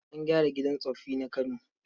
An gyara gidan tsoffi na Kano.